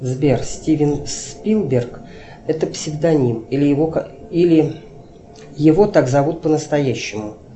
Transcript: сбер стивен спилберг это псевдоним или его так зовут по настоящему